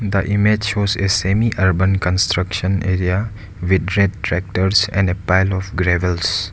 The image shows a semI urban construction area with red tractors and a pile of gravels.